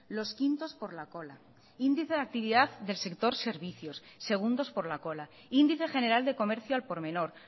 los quintos por la cola índice de actividad del sector servicios segundos por la cola índice general de comercio al por menor